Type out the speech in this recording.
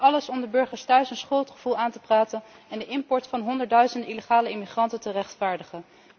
En alles om de burgers thuis een schuldgevoel aan te praten en de import van honderdduizenden illegale immigranten te rechtvaardigen.